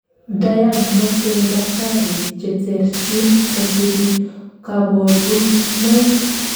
diagnoseni dakitari cheterchin kosubi kaborunoik